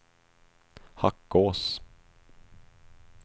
Hackås